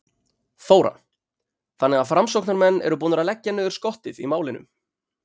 Þóra: Þannig að framsóknarmenn eru búnir að leggja niður skottið í málinu?